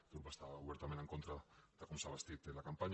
aquest grup està obertament en contra de com s’ha bastit la campanya